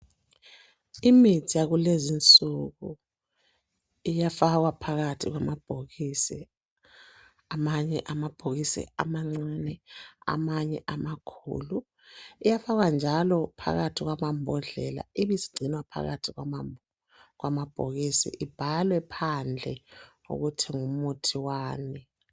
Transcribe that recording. Imithi yakulezi insuku iyafakwa phakathi kwamabhokisi. Amanye amabhokisi amancane, amanye amakhulu .Iyafakwa njalo phakathi kwamambodlela ibisigcinwa phakathi kwamabhokisi, ibhalwe phandle ukuthi ngumuthi wani.